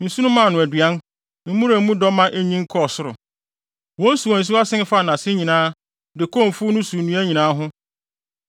Nsu no maa no aduan, mmura a mu dɔ ma enyin kɔɔ soro; wɔn nsuwansuwa sen faa nʼase nyinaa de kɔɔ mfuw no so nnua nyinaa ho.